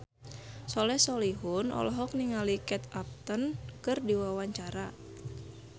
Soleh Solihun olohok ningali Kate Upton keur diwawancara